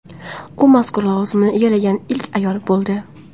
U mazkur lavozimni egallagan ilk ayol bo‘ldi.